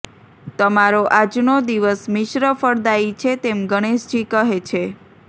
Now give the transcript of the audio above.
તમારો આજનો દિવસ મિશ્ર ફળદાયી છે તેમ ગણેશજી કહે છે